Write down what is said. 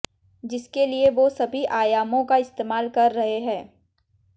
जिसके लिए वो सभी आयामों का इस्तेमाल कर रहे हैं